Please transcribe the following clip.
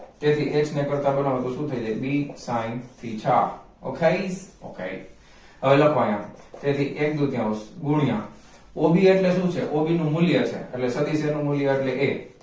તેથી h ને કરતા બનાવો તો શું થઈ જાય bsin theta okay okay હવે લખો અહીંયા તેથી એક દૂતીયાયાંઉન્સ ગુણ્યા o b એટલે શું છે એનું મૂલ્ય એટલે એ સદિશ નું મૂલ્ય અટલે a